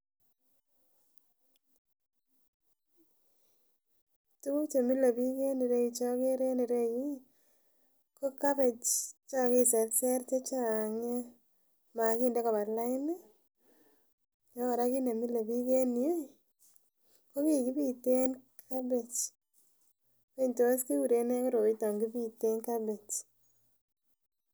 Tukuk chemile bik en ireyuu cheokere en ireyuu iih ko cabbage chekakiserser che Chang nia makinde koba laini ako Koraa kit nemile bik en yuu iih ko kii kipiten cabbage wany tos kikuren nee koroiton kipiten cabbage.